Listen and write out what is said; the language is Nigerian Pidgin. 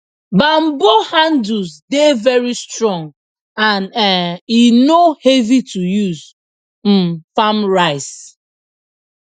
banbo handles dey very strong and um e no heavy to use um farm rice